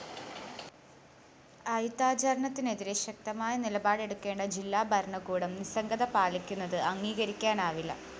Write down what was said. അയിത്താചരണത്തിനെതിരെ ശക്തമായ നിലപാടെടുക്കേണ്ട ജില്ലാ ഭരണകൂടം നിസ്സംഗത പാലിക്കുന്നത് അംഗീകരിക്കാനാവില്ല